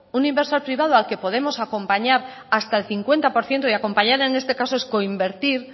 un inversor privado al que podemos acompañar hasta el cincuenta por ciento y acompañar en este caso es coinvertir